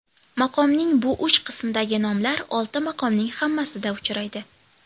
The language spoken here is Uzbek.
Maqomning bu uch qismidagi nomlar olti maqomning hammasida uchraydi.